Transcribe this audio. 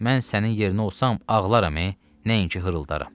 Mən sənin yerinə olsam ağlaram, nəinki hırıldaram.